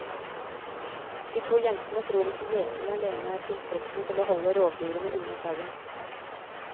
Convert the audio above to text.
De to jentene tror ikke gjeting alene er tilstrekkelig til å holde rovdyrene unna sauen.